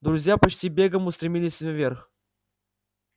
друзья почти бегом устремились наверх